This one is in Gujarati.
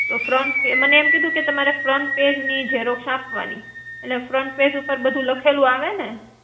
Front page. મને એમ કીધું કે તમારે front page ની Xerox આપવાની, એટલે front page ઉપર બધું લખેલું આવેને.